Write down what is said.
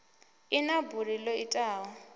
i na buli ḓo itaho